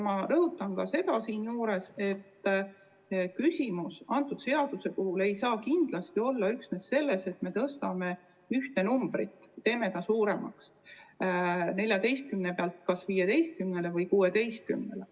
Ma rõhutan ka seda, et küsimus selle seaduse puhul ei saa kindlasti piirduda üksnes sellega, et me muudame ühte numbrit, asendame ta suuremaga – tõstame 14 pealt 15-le või 16-le.